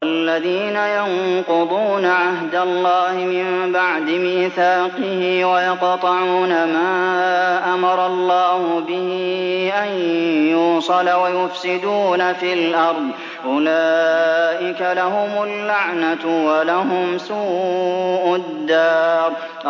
وَالَّذِينَ يَنقُضُونَ عَهْدَ اللَّهِ مِن بَعْدِ مِيثَاقِهِ وَيَقْطَعُونَ مَا أَمَرَ اللَّهُ بِهِ أَن يُوصَلَ وَيُفْسِدُونَ فِي الْأَرْضِ ۙ أُولَٰئِكَ لَهُمُ اللَّعْنَةُ وَلَهُمْ سُوءُ الدَّارِ